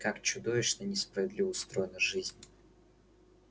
как чудовищно несправедливо устроена жизнь